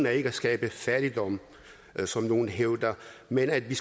er ikke at skabe fattigdom som nogle hævder men at vi